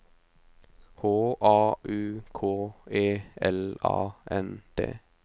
H A U K E L A N D